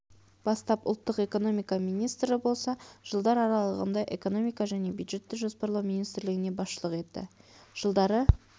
бастап ұлттық экономика министрі болса жылдар аралығында экономика және бюджетті жоспарлау министрлігіне басшылық етті жылдары